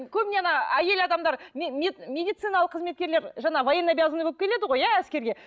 көбіне ана әйел адамдар медициналық қызметкерлер жаңа военнообязанный болып келеді ғой иә әскерге